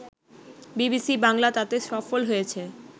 BBC Bangla তাতে সফল হয়েছে